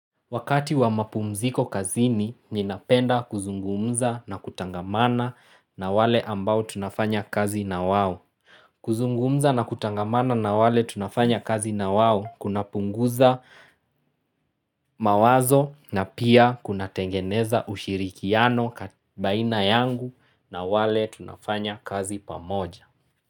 Wakati wa mapumziko kazini, ninapenda kuzungumza na kutangamana na wale ambao tunafanya kazi na wao. Kuzungumza na kutangamana na wale tunafanya kazi na wao kunapunguza mawazo na pia kunatengeneza ushirikiano baina yangu na wale tunafanya kazi pamoja.